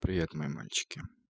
привет мои мальчики